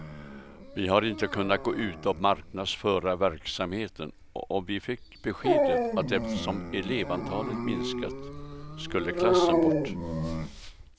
Vi har inte kunnat gå ut och marknadsföra verksamheten och vi fick beskedet att eftersom elevantalet minskat skulle klassen bort.